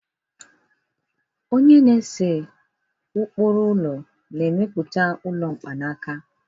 onye na-ese ụkpụrụ ụlọ na-emepụta ụlọ mkpanaka